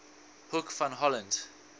hoek van holland